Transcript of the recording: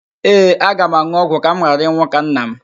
Ee, aga m an̄ụ ọgwụ ka m ghara ịnwụ ka nna m